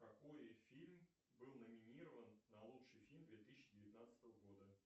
какой фильм был номинирован на лучший фильм две тысячи девятнадцатого года